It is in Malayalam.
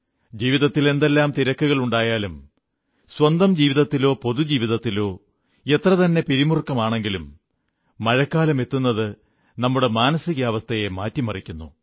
ജീവിതത്തിൽ എന്തെല്ലാം തിരക്കുകളുണ്ടായാലും സ്വന്തം ജീവിതത്തിലോ പൊതുജീവിതത്തിലോ എത്രതന്നെ പിരിമുറുക്കത്തിലാണെങ്കിലും മഴക്കാലമെത്തുന്നത് നമ്മുടെ മാനസികാവസ്ഥയെ മാറ്റിമറിക്കുന്നു